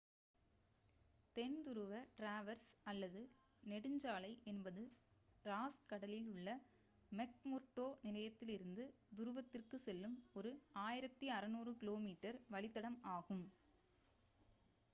தென் துருவ டிராவர்ஸ் அல்லது நெடுஞ்சாலை என்பது ராஸ் கடலில் உள்ள மெக்முர்டோ நிலையத்திலிருந்து துருவத்திற்கு செல்லும் ஒரு 1600 கி.மீ வழித்தடம் ஆகும்